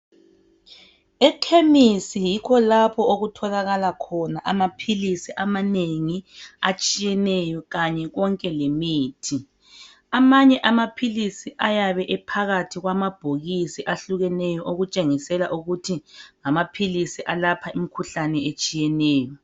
Ekhemisi yikho lapho okutholakala khona amaphilisi amanengi atshiyeneyo kanye konke lemithi amanye amaphilisi ayabe ephakathi kwamabhokisi ahlukeneyo okutshengisela ukuthi ngamaphilisi alapha imikhuhlane etshiyeneyo.